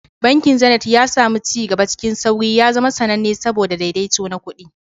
Bankin Zenith, ya sami ci gaba cikin sauri, ya zama sananne saboda daidaito na kuɗi.